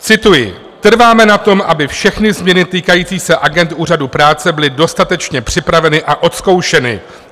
Cituji: "Trváme na tom, aby všechny změny týkající se agend úřadu práce byly dostatečně připraveny a odzkoušeny.